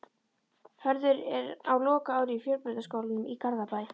Hörður er á lokaári í Fjölbrautaskólanum í Garðabæ.